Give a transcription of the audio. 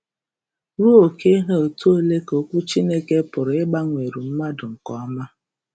Ruo oke ha etu ole ka Okwu Chineke pụrụ ịgbanweru mmadụ nke ọma?